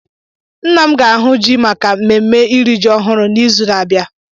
Nna m ga-ahụ ji maka mmemme iri ji ọhụrụ n'izu na-abịa.